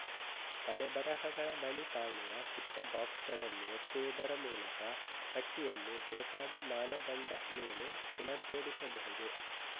ತಲೆಬರಹಗಳ ಬಳಿ ಕಾಣುವ ಪುಟ್ಟ ಬಾಕ್ಸ್ ಗಳನ್ನು ಒತ್ತುವುದರ ಮೂಲಕ ಪಟ್ಟಿಯನ್ನು ಬೇಕಾದ ಮಾನದಂಡ ಮೇಲೆ ಪುನರ್ಜೋಡಿಸಬಹುದು